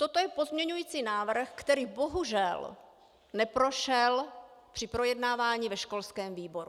Toto je pozměňovací návrh, který bohužel neprošel při projednávání ve školském výboru.